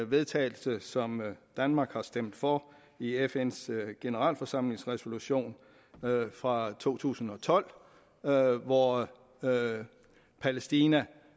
vedtagelse som danmark har stemt for i fns generalforsamlingsresolution fra to tusind og tolv hvor palæstina